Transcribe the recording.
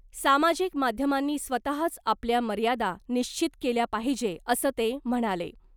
सामाजिक माध्यमांनी स्वतःच आपल्या मर्यादा निश्चित केल्या पाहिजे , असं ते म्हणाले .